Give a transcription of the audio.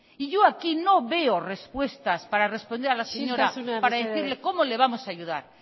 y yo aquí no veo respuestas para responder a la señora isiltasuna mesedez para decirle cómo le vamos a ayudar